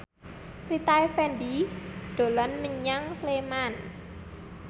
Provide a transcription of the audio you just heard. Rita Effendy dolan menyang Sleman